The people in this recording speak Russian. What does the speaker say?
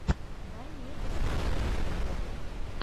дай мне посмотреть вог